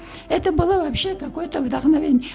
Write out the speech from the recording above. это было вообще такой то вдохновение